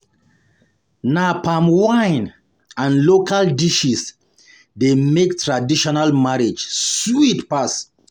Na palm wine and local dishes dey make traditional marriage sweet pass.